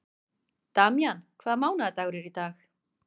Damjan, hvaða mánaðardagur er í dag?